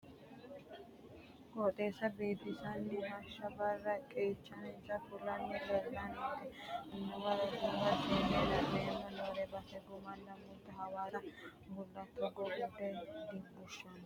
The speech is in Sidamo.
Qooxeessa biifisani hashsha barra qeechansa fulanni leellank amuwanna roduuwa seene la"ani noommo base gudumalu muleti hawaasa baalunku togo gunte gunte fulle qooxeessa agadha dibushano.